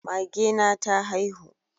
Mage na ta haihu